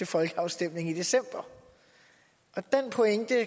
folkeafstemningen i december den pointe er